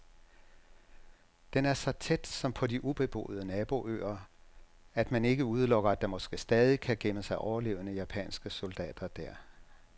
Den er så tæt, som på de ubeboede naboøer, at man ikke udelukker, at der måske stadig kan gemme sig overlevende japanske soldater der.